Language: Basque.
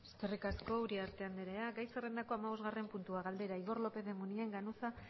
eskerrik asko uriarte anderea gai zerrendako hamabosgarren puntua galdera igor lópez de munain ganuza